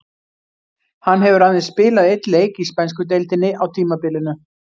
Hann hefur aðeins spilað einn leik í spænsku deildinni á tímabilinu.